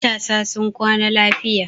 Matasa sun kwana lafiya.